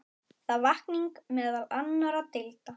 Það vakning meðal annarra deilda.